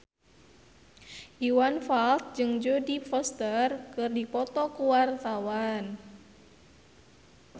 Iwan Fals jeung Jodie Foster keur dipoto ku wartawan